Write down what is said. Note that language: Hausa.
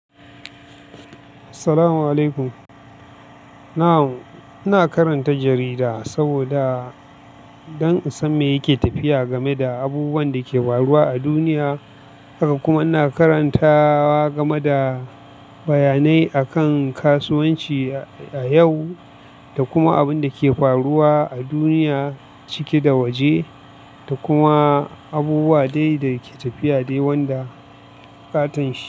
Salamu alaikum. Na'am ina karanta jarida saboda, don in san me yake tafiya game da abubuwan da ke faruwa a duniya. Haka kuma ina karanta game da bayanai akan kasuwanci a yau da kuma abun da ke faruwa a duniya cike da waje da kuma abubuwa dai da ke tafiya dai wanda katanshi.